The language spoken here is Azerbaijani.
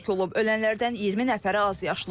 Ölənlərdən 20 nəfəri azyaşlıdır.